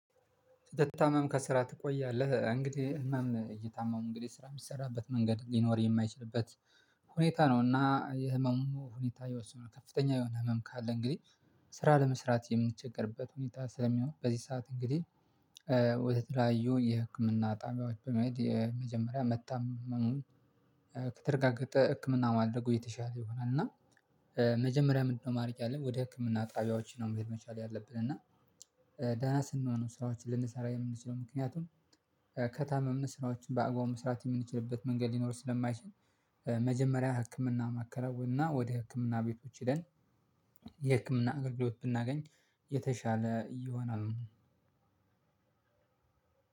ስትታመም ከስራ ትቆያለህ እንግዲህ ህመም እየታመምክ እንግዲህ ስራ የሚሰራበት መንገድ ሊኖር የማይችልበት ሁኔታ ነው። እና የህመሙ ሁኔታ ይወስነዋል ከፍተኛ የሆነ ህመም ካለ እንግዲህ ስራ ለመስራት የምንቸገርበት ሁኔታ ስለሚሆን በዚህ ሰዓት እንግዲህ ወደተለያዩ የህክምና ጣቢያዎች በመሄድ የመጀመሪያ መታመሙን ከተረጋገጠ ህክምና ማድረጉ የተሻለ ይሆናል እና መጀመሪያ ምንድነው? ማድረግ ያለብን ወደ ህክምና ጣቢያዎች ነው መሄድ መቻል ያለብን እና ደህና ስንሆን ሰዎችን ልንሰራ የምንለው ምክንያቱም ከታመምን ስራዎችን በአግባቡ መስራት የምንችልበት መንገድ ሊኖር ስለማይችል። መጀመሪያ ህክምና ማከናወን እና ወደ ህክምና ቤቶች ሄደን የህክምና አገልግሎት ብናገኝ የተሻለ ይሆናል።